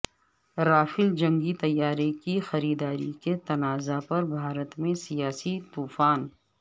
Rafale جنگی طیارے کی خریداری کے تنازع پر بھارت میں سیاسی طوفان